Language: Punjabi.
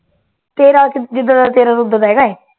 ਤੇਰਾ ਕਿਦ ਜਿਦਰ ਵਲ ਤੇਰਾ ਉਦਰ ਹੈਗਾ ਆ